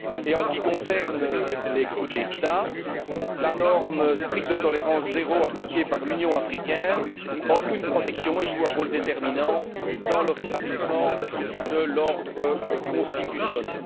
En ce qui concerne les coups d'État, la norme stricte de tolérance zéro appliquée par l'Union africaine offre une protection et joue un rôle déterminant dans le rétablissement de l'ordre constitutionnel.